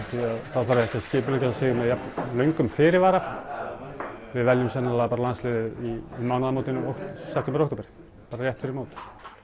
þá þarf ekki að skipuleggja sig með jafn löngum fyrirvara við veljum sennilega bara landsliðið um mánaðamótin september október bara rétt fyrir mót